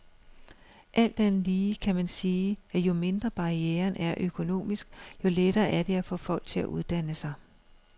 Alt andet lige kan man sige, at jo mindre barrieren er økonomisk, jo lettere er det at få folk til at uddanne sig.